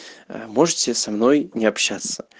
можете со мной не общаться